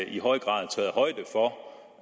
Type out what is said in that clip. i høj grad